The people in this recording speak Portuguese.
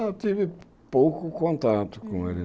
Eu tive pouco contato com ele.